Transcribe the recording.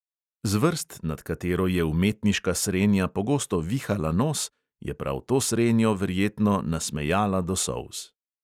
Zvrst, nad katero je umetniška srenja pogosto vihala nos, je prav to srenjo verjetno nasmejala do solz.